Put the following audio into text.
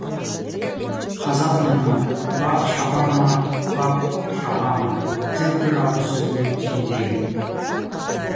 қазақ мұны бақ шаба ма бап шаба ма деп бір ауыз сөзбен түйіндеген